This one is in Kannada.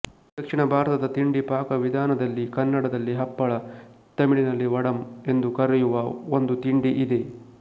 ದಕ್ಷಿಣ ಭಾರತದ ತಿಂಡಿ ಪಾಕವಿಧಾನದಲ್ಲಿ ಕನ್ನಡದಲ್ಲಿ ಹಪ್ಪಳ ತಮಿಳಿನಲ್ಲಿ ವಡಮ್ ಎಂದು ಕರೆಯುವ ಒಂದು ತಿಂಡಿ ಇದೆ